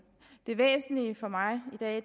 det væsentlige for mig i dag at